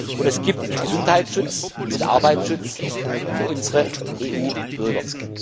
Und es gibt den Gesundheits und Arbeitsschutz für unsere EU Bürger.